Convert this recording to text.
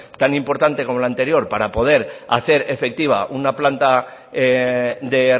tan importante como la anterior para poder hacer efectiva una planta de